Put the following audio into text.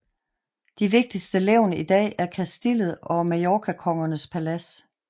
De vigtigste levn i dag er Castillet og Mallorcakongernes palads